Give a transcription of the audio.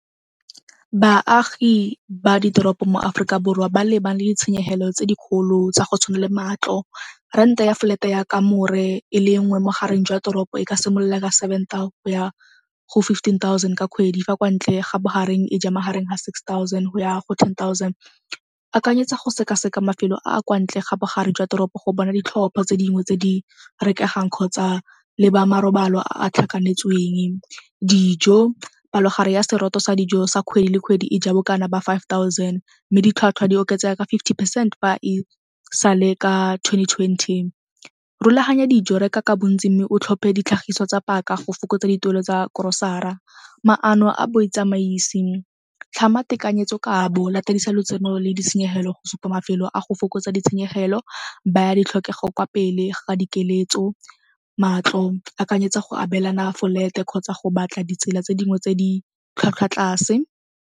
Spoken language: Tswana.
Baagi ba ditoropo mo Aforika Borwa ba lebane le tshenyegelo tse dikgolo tsa go tshwana le matlo. Rent-e ya flat ya kamore e le nngwe mo gareng jwa toropo e ka simolola ka seven tao go ya go fifteen thousand ka kgwedi fa kwa ntle ga bogareng e ja magareng ga six thousand go ya go ten thousand. Akanyetsa go seka-seka mafelo a a kwa ntle ga bogare jwa toropo go bona ditlhopho tse dingwe tse di rekegang kgotsa leba marobalo a a tlhakanetsweng. Dijo, palogare ya seroto sa dijo sa kgwedi le kgwedi e ja bokana ba five thousand mme ditlhwatlhwa di oketsega ka fifty percent fa e sale ka twenty twenty. Rulaganya dijo, reka ka bontsi mme o tlhophe ditlhagiso tsa paka go fokotsa dituelo tsa korosara. Maano a boitsamaisi, tlhama tekanyetso kabo, latedisa lotseno le ditshenyegelo go supa mafelo a go fokotsa ditshenyegelo, baya ditlhokego kwa pele ga dikeletso. Matlo, akanyetsa go abelana folete kgotsa go batla ditsela tse dingwe tse di tlhwatlhwa tlase.